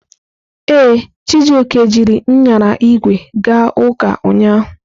Ee, Chijioke jiri nyara ígwè ga ụka ụnyahụ.